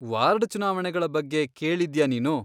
Ward ಚುನಾವಣೆಗಳ ಬಗ್ಗೆ ಕೇಳಿದ್ಯಾ ನೀನು?